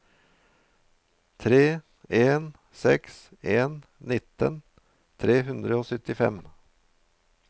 tre en seks en nittien tre hundre og syttifem